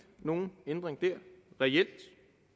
nogen ændring der reelt